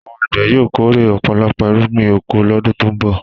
Àwọn àgbẹ̀ yóò kórè ọ̀pọ̀lọpọ̀ irúgbìn oko lọ́dún tó ń bọ̀.